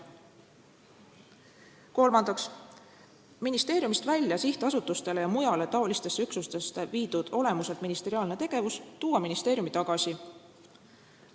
Kolmandaks, ministeeriumist välja, sihtasutustesse ja mujale taolistesse üksustesse viidud olemuselt ministeriaalne tegevus tuua ministeeriumi tagasi.